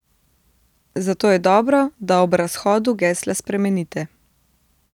Zato je dobro, da ob razhodu gesla spremenite.